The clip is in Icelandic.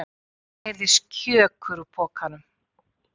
Það heyrðist KJÖKUR úr pokanum!